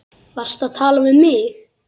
Varstu að tala við mig?